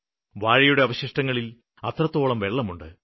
വാഴയുടെ അവശിഷ്ടങ്ങളില് അത്രത്തോളം വെള്ളമുണ്ട്